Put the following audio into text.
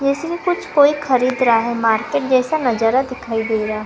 जैसे में कुछ कोई खरीद रहा है मार्केट जैसा नजारा दिखाई दे रहा--